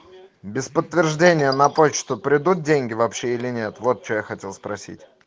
без подтверждения на почту придут деньги вообще или нет вот что я хотел спросить